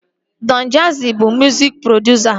Dọn Jazzi bụ mụzik produsa